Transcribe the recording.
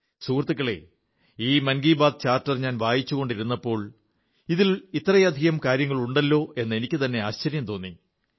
സുഹൃത്തുക്കളേ ഈ മൻ കീ ബാത്ത്് ചാർട്ടർ ഞാൻ വായിച്ചുകൊണ്ടിരുന്നപ്പോൾ ഇതിൽ ഇത്രയധികം കാര്യങ്ങളുണ്ടല്ലോ എന്ന് എനിക്കുതന്നെ ആശ്ചര്യം തോന്നി